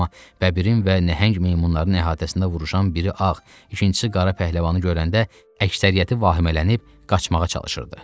amma bəbirin və nəhəng meymunların əhatəsində vuruşan biri ağ, ikincisi qara pəhləvanı görəndə əksəriyyəti vahimələnib qaçmağa çalışırdı.